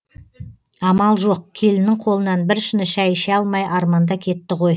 амал жоқ келіннің қолынан бір шыны шәй іше алмай арманда кетті ғой